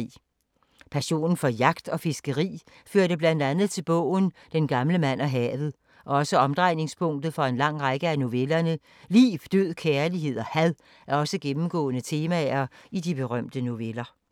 Passionen for jagt og fiskeri førte blandt andet til bogen Den gamle mand og havet og er også omdrejningspunktet for en lang række af novellerne. Liv, død, kærlighed og had er også gennemgående temaer i de berømte noveller.